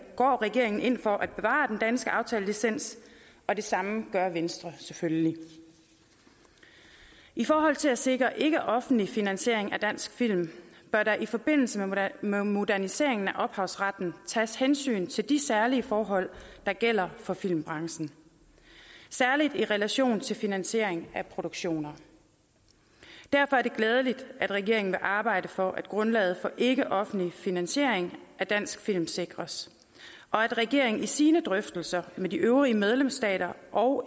går regeringen ind for at bevare den danske aftalelicens og det samme gør venstre selvfølgelig i forhold til at sikre ikkeoffentlig finansiering af dansk film bør der i forbindelse med moderniseringen af ophavsretten tages hensyn til de særlige forhold der gælder for filmbranchen særlig i relation til finansiering af produktioner derfor er det glædeligt at regeringen vil arbejde for at grundlaget for ikkeoffentlig finansiering af dansk film sikres og at regeringen i sine drøftelser med de øvrige medlemsstater og